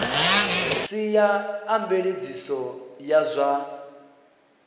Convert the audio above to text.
sia a mveledziso ya zwa